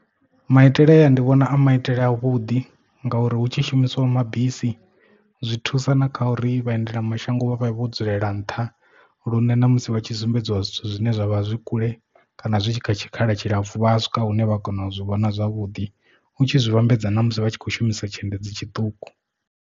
Maitele aya ndi vhona a maitele a vhuḓi ngauri hu tshi shumiswa mabisi zwi thusa na kha uri vha endela mashango vhavha vho dzulela nṱha lune na musi vha tshi sumbedziwa zwithu zwine zwavha zwi kule kana zwi tshi kha tshikhala tshilapfhu vha swika hune vha kona u zwi vhona zwavhuḓi u tshi zwi vhambedza na musi vha tshi khou shumisa tshiendedzi tshiṱuku.